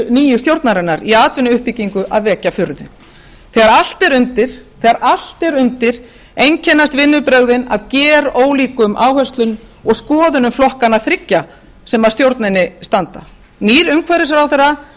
nýju stjórnarinnar í atvinnuuppbyggingu að vekja furðu þegar allt er undir einkennast vinnubrögðin af gerólíkum áherslum og skoðunum flokkanna þriggja sem að stjórninni standa nýr umhverfisráðherra